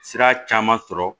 Sira caman sɔrɔ